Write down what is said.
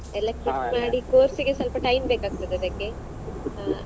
quit ಮಾಡಿ course ಗೆ ಸ್ವಲ್ಪ time ಬೇಕಾಗ್ತದೆ ಅದಕ್ಕೆ.